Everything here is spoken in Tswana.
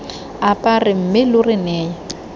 apare mme lo re neye